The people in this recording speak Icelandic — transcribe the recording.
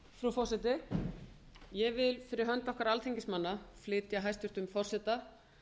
frú forseti ég vil fyrir hönd okkar alþingismanna flytja hæstvirts forseta